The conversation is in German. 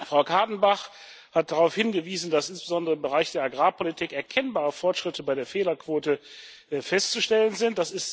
Frau Kadenbach hat darauf hingewiesen, dass insbesondere im Bereich der Agrarpolitik erkennbare Fortschritte bei der Fehlerquote festzustellen sind.